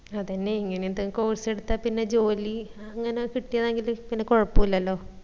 അതെന്നെ ഇങ്ങനെ എന്തെകിലും course എടുത്താപിന്ന ജോലി അങ്ങനെ കിട്ടായാ എങ്കില് പിന്ന കോഴപുല്ലല്ലോ